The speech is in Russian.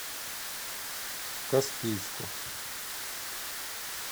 каспийску